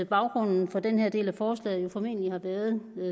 baggrunden for den her del af forslaget formentlig har været